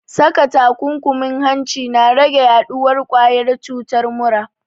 Saka takunkumin hanci na rage yaɗuwar ƙwayar cutar mura